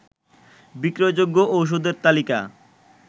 বিক্রয়যোগ্য ওষুধের তালিকা